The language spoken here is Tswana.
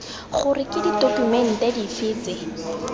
gore ke ditokumente dife tse